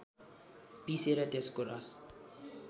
पिसेर त्यसको रस